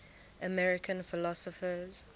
american philosophers